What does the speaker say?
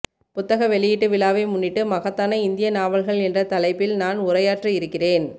புத்தக வெளியீட்டு விழாவை முன்னிட்டு மகத்தான இந்திய நாவல்கள் என்ற தலைப்பில் நான் உரையாற்ற இருக்கிறேன்